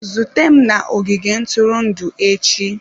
Zute m na ogige ntụrụndụ echi!